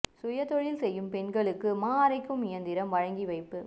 சுய தொழில் செய்யும் பெண்களுக்கு மா அரைக்கு இயந்திரம் வழங்கி வைப்பு